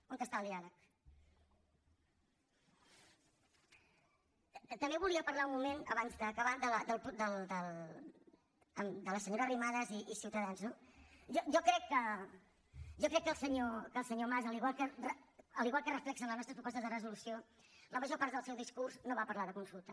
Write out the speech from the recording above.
on està el diàleg també volia parlar un moment abans d’acabar de la senyora arrimadas i ciutadans no jo crec que el senyor mas igual que ho reflecteixen les nostres propostes de resolució en la major part del seu discurs no va parlar de consulta